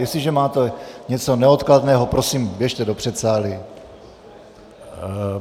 Jestliže máte něco neodkladného, prosím, běžte do předsálí!